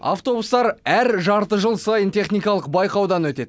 автобустар әр жарты жыл сайын техникалық байқаудан өтеді